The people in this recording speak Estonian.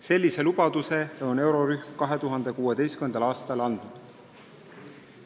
Sellise lubaduse on eurorühm 2016. aastal andnud.